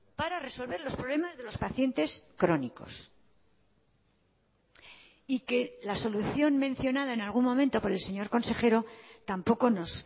para resolver los problemas de los pacientes crónicos y que la solución mencionada en algún momento por el señor consejero tampoco nos